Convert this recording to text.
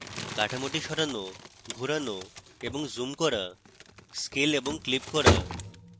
কাঠামোটি সরানো ঘোরানো এবং zoom করা scale এবং clip করা